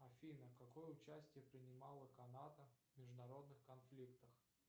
афина какое участие принимала канада в международных конфликтах